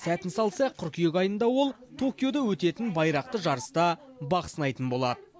сәтін салса қыркүйек айында ол токиода өтетін байрақты жарыста бақ сынайтын болад